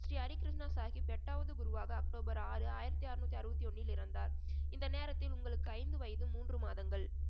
ஸ்ரீ ஹரிகிருஷ்ணா சாஹிப் எட்டாவது குருவாக அக்டோபர் ஆறு ஆயிரத்தி அறுநூத்தி அறுபத்தி ஒன்னில் இறந்தார் இந்த நேரத்தில் உங்களுக்கு ஐந்து வயது மூன்று மாதங்கள்